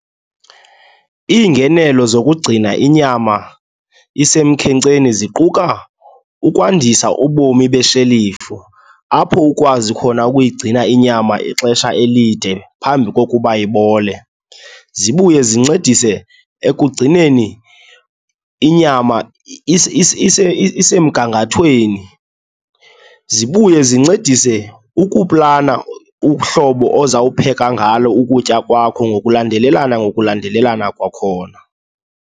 Iingenelo zokugcina inyama isemkhenkceni ziquka ukwandisa ubomi beshelifu, apho ukwazi khona ukuyigcina inyama ixesha elide phambi kokuba ibole. Zibuye zincedise ekugcineni inyama isesemgangathweni, zibuye zincedise ukuplana uhlobo ozawupheka ngalo ukutya kwakho ngokulandelelana ngokulandelelana kwakhona.